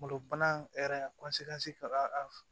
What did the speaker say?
Kungolo bana hɛrɛ ka f